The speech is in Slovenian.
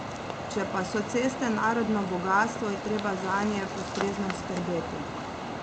Če pa so ceste narodno bogastvo, je treba zanje ustrezno skrbeti.